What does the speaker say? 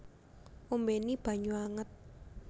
Ombéni banyu anget